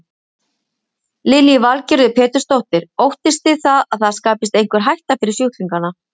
Lillý Valgerður Pétursdóttir: Óttist þið það að það skapist einhver hætta fyrir sjúklingana?